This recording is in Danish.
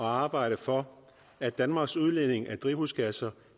arbejde for at danmarks udledning af drivhusgasser